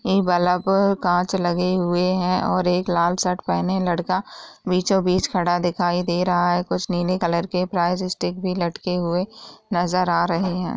कांच लगे हुए हैं और एक लाल शर्ट पहने लड़का बीचों-बीच खड़ा हुआ दिखाई दे रहा है| कुछ नीले कलर के प्लास्टिक भी लटके हुए नजर आ रहै हैं।